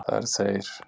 Það eru þeir.